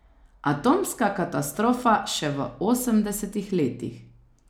Atomska katastrofa še v osemdesetih letih.